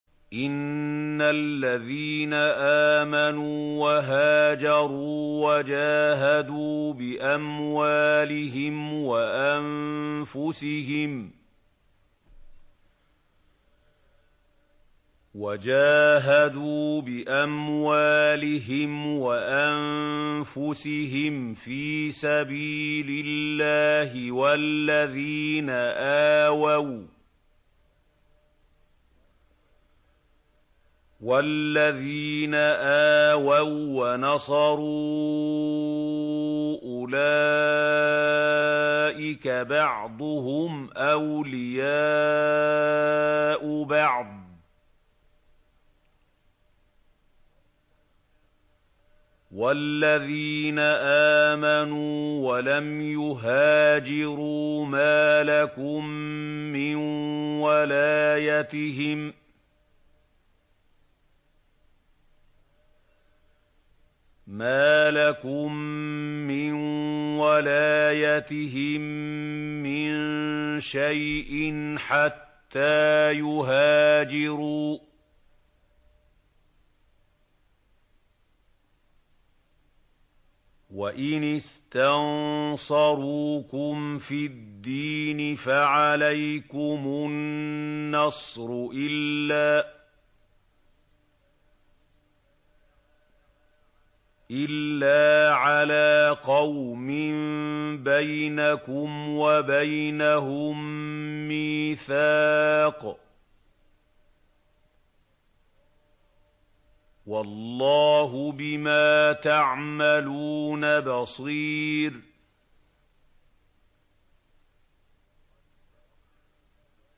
إِنَّ الَّذِينَ آمَنُوا وَهَاجَرُوا وَجَاهَدُوا بِأَمْوَالِهِمْ وَأَنفُسِهِمْ فِي سَبِيلِ اللَّهِ وَالَّذِينَ آوَوا وَّنَصَرُوا أُولَٰئِكَ بَعْضُهُمْ أَوْلِيَاءُ بَعْضٍ ۚ وَالَّذِينَ آمَنُوا وَلَمْ يُهَاجِرُوا مَا لَكُم مِّن وَلَايَتِهِم مِّن شَيْءٍ حَتَّىٰ يُهَاجِرُوا ۚ وَإِنِ اسْتَنصَرُوكُمْ فِي الدِّينِ فَعَلَيْكُمُ النَّصْرُ إِلَّا عَلَىٰ قَوْمٍ بَيْنَكُمْ وَبَيْنَهُم مِّيثَاقٌ ۗ وَاللَّهُ بِمَا تَعْمَلُونَ بَصِيرٌ